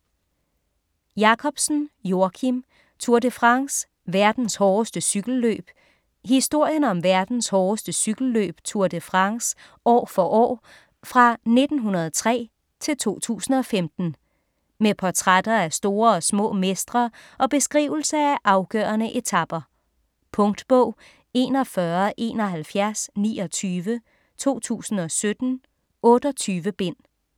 Jakobsen, Joakim: Tour de France: verdens hårdeste cykelløb Historien om verdens hårdeste cykelløb Tour de France år for år fra 1903-2015. Med portrætter af store og små mestre og beskrivelse af afgørende etaper. Punktbog 417129 2017. 28 bind.